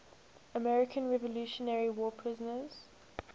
american revolutionary war prisoners